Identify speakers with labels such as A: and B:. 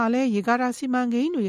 A: ာလည်း ရေကာတာစီမံကိန်းတွေ